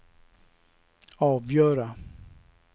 avgöra